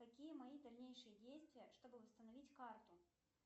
какие мои дальнейшие действия чтобы восстановить карту